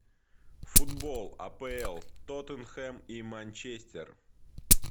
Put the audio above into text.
футбол апл тоттенхэм и манчестер